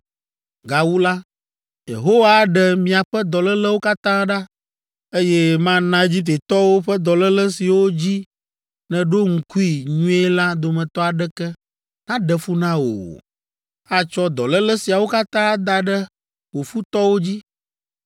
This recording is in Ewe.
Gawu la, Yehowa aɖe miaƒe dɔlélewo katã ɖa, eye mana Egiptetɔwo ƒe dɔléle siwo dzi nèɖo ŋkui nyuie la dometɔ aɖeke naɖe fu na wò o. Atsɔ dɔléle siawo katã ada ɖe wò futɔwo dzi!